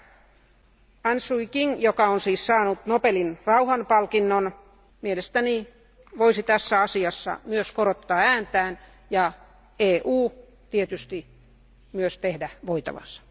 Aung San Sui Kyi, joka on siis saanut Nobelin rauhanpalkinnon, mielestäni voisi tässä asiassa myös korottaa ääntään ja EU tietysti myös tehdä voitavansa.